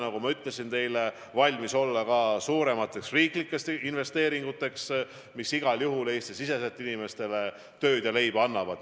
Nagu ma ütlesin teile, me peame valmis olema ka suuremateks riiklikeks investeeringuteks, mis igal juhul Eesti-siseselt inimestele tööd ja leiba annavad.